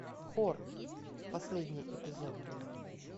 хор последний эпизод